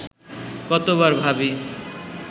কতবার ভাবি